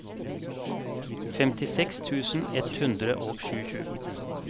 femtiseks tusen ett hundre og tjuesju